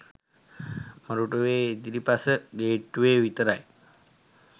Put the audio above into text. මොරටුවේ ඉදිරිපස ගේට්ටුවේ විතරයි